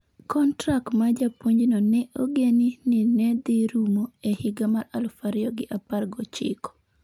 Kontrak mar japuonjno ne ogeni ni ne dhi rumo e higa mar aluf ariyo gi apar gochiko